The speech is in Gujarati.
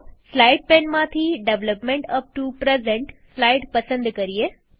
સ્લાઈડ પેનમાંથી development up to present slide પસંદ કરીએ